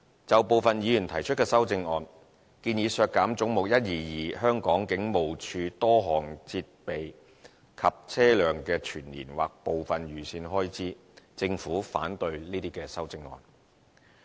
就部分議員提出的修正案，建議削減"總目 122― 香港警務處"多項設備及車輛的全年或部分預算開支，政府反對這些修正案。